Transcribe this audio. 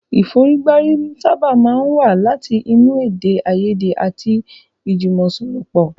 Ìfọ̀rígbárí sábà máa ń wá láti inú èdè àìyèdè àti ìjùmọ̀sọ̀rọ̀pọ̀.